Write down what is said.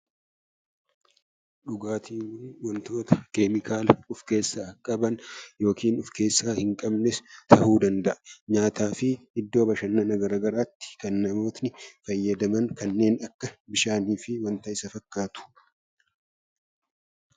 Dhugaatiin wantoota keemikaala of keessaa qaban yookiin of keessaa hin qabnes ta'uu danda'a . Nyaataa fi iddoo bashannanaa garaagaraatti kan namoonni fayyadaman kanneen akka bishaanii fi wanta Isa fakkaatu .